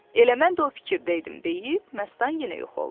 Elə mən də o fikirdə idim deyib, Məstan yenə yox oldu.